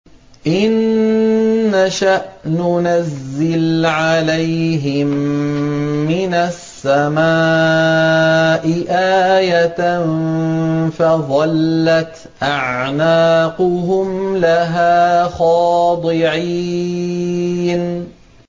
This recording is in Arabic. إِن نَّشَأْ نُنَزِّلْ عَلَيْهِم مِّنَ السَّمَاءِ آيَةً فَظَلَّتْ أَعْنَاقُهُمْ لَهَا خَاضِعِينَ